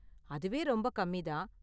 அதுவே ரொம்ப கம்மி தான்.